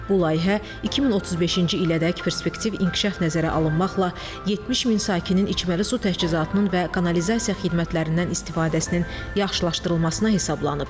Bu layihə 2035-ci ilədək perspektiv inkişaf nəzərə alınmaqla 70 min sakinin içməli su təchizatının və kanalizasiya xidmətlərindən istifadəsinin yaxşılaşdırılmasına hesablanıb.